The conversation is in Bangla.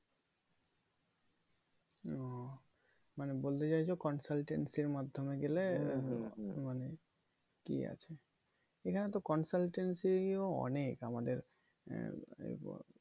মানে বলতে চাইছো consultancy র মাধ্যমে গেলে মানে কি আছে এখানে তো consultancy নিয়েও অনেক আমাদের এ এবা